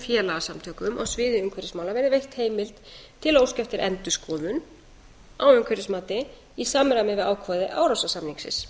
félagasamtökum á sviði umhverfismála verði veitt heimild til að óska eftir endurskoðun á umhverfismati í samræmi við ákvæði árósasamningsins